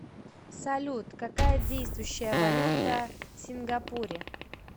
салют какая действующая валюта в сингапуре